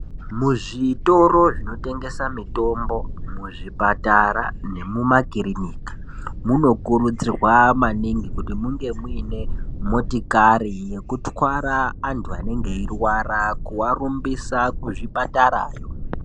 Muzvitoro zvinotengesa mitombo, muzvipatara nemumakirinika, munokurudzirwa maningi kuti munge muine motikari yekutwara antu anenge eirwara kurumbisa kuzvipatarayo.